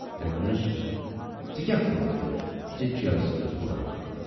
تٔمۍ وونُس۔ ژے کیاہ کورُتھ تیُتھ زِ جیلس منٛز بورہوکھ؟